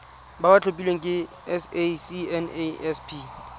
ba ba tlhophilweng ke sacnasp